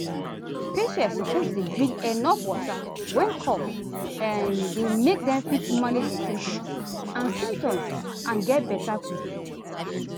patients suppose dey drink enuf water when cough um dey make dem fit manage di symptoms and symptoms and get beta quick.